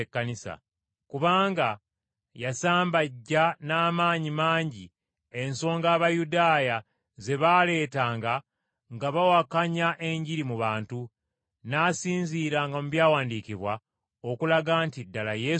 kubanga yasambajja n’amaanyi mangi ensonga Abayudaaya ze baaleetanga nga bawakanya Enjiri mu bantu, n’asinziiranga mu Byawandiikibwa okulaga nti ddala Yesu ye Kristo.